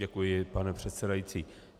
Děkuji, pane předsedající.